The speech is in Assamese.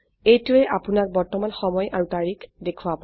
এইটোৱে আপোনক বৰ্তমান সময় আৰু তাৰিখ দেখোৱাব